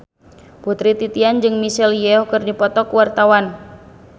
Putri Titian jeung Michelle Yeoh keur dipoto ku wartawan